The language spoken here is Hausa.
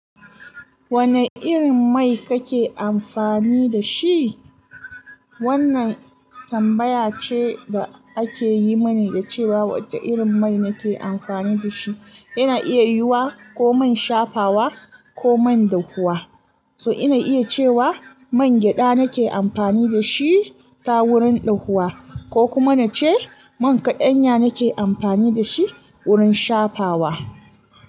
Wane irin mai kake amfani da shi? Wannan tambaya ce da ake yi mani da cewa wace irin mai nake amfani da shi. Ina iya yiwa ko man shafawa ko man dahuwa. So ina iya cewa man gyada nake amfani da shi ta wurin ɗahuwa ko kuma nace man kaɗanya nake amfani da shi wurin shafawa.